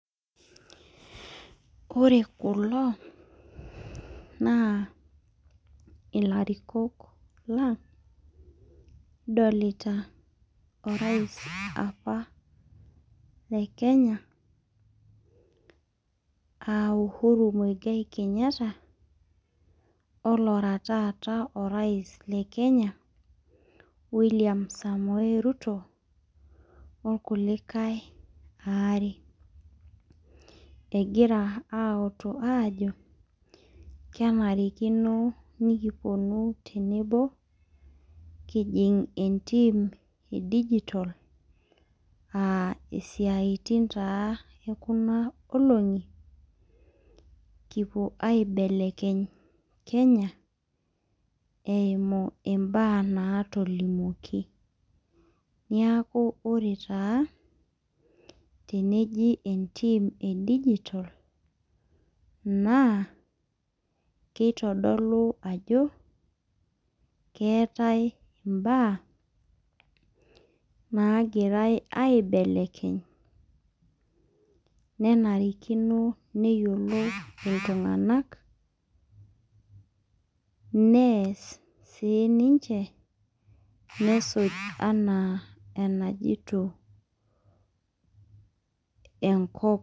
Ore kulo, naa ilarikok lang' kidolita orais apa le Kenya, ah Uhuru Muigai Kenyatta, olara taata orais le Kenya, William Samoei Ruto, orkulikae aare. Egira autu ajo, kenarikino nikiponu tenebo, kijing' entim edijitol ah isiaitin taa ekuna olong'i, kipuo aibelekeny Kenya, eimu imbaa natolimuoki. Niaku ore taa, teneji entim edijitol, naa kitodolu ajo, keetae imbaa, nagirai aibelekeny nenarikino neyiolou iltung'anak, nees sininche nesuj enaa enajito enkop.